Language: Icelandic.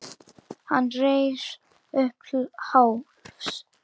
Hann reis upp til hálfs.